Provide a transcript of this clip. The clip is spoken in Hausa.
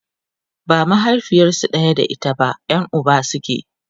ba mahaifiyarsu ɗaya da ita ba Yan Uba suke